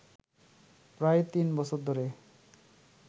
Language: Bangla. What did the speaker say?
প্রায় তিন বছর ধরে